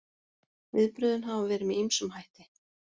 Viðbrögðin hafa verið með ýmsum hætti